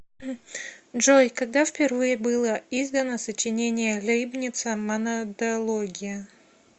джой когда впервые было издано сочинение лейбница монадология